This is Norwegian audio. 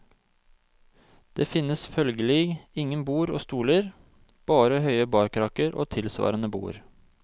Det finnes følgelig ingen bord og stoler, bare høye barkrakker og tilsvarende bord.